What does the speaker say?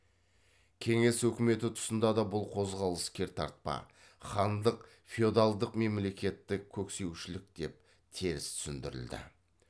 кеңес үкіметі тұсында да бұл қозғалыс кертартпа хандық феодалдық мемлекетті көксеушілік деп теріс түсіндірілді